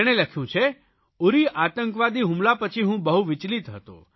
તેણે લખ્યું છે ઉરી આતંકવાદી હુમલા પછી હું બહુ વિચલિત હતો